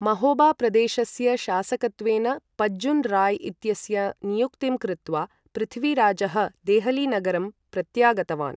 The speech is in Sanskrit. महोबा प्रदेशस्य शासकत्वेन पज्जुन् राय् इत्यस्य नियुक्तिं कृत्वा पृथ्वीराजः देहली नगरं प्रत्यागतवान्।